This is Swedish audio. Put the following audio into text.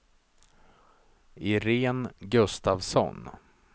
Irene Gustafsson